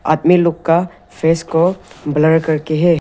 आदमी लोग का फेस को ब्लर करके है।